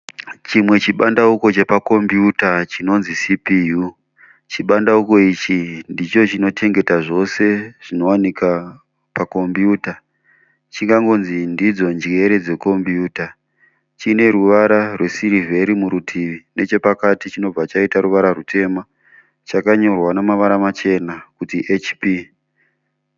Chimwe chibandauko chepakombuyuta chinonzi CPU. Chibandauko ichi ndicho chinochengeta zvose zvinowanika pakombiyuta. Chingangonzi ndidzo njere dzekombiyuta. Chine ruvara rwesirivheri murutivi nechepakati chobva chaita ruvara rutema. Chakanyorwa nemavara machena kuti HP.